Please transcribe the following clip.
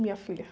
Minha filha.